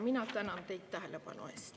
Mina tänan teid tähelepanu eest.